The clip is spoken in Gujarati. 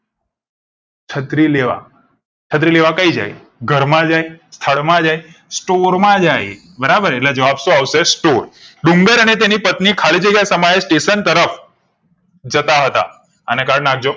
છત્રી લેવા છત્રી લેવા કઈ જાય ઘર માં જાય સ્થળ માં જાય store માં જાય બરાબર એટલે જવાબ સો આવશે store ડુંગરઅને તેની પત્ની ખાલીજગ્યા સમયે સ્ટેશન તરફ જતા હા તા અને કર નાખ જો